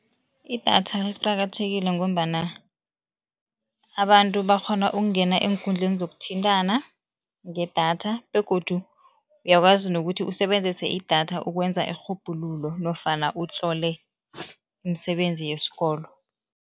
Idatha liqakathekile ngombana abantu bakghona ukungena eenkundleni zokuthintana ngedatha begodu uyakwazi nokuthi usebenzise idatha ukwenza irhubhululo nofana utlole imisebenzi yesikolo.